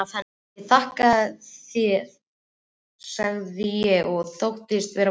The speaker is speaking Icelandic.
Ég þakka sagði ég og þóttist vera fúl.